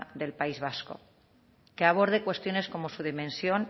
del país vasco que aborde cuestiones como su dimensión